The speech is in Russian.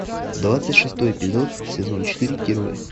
двадцать шестой эпизод сезон четыре герои